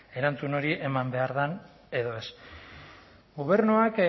erantzun hori eman behar den edo ez gobernuak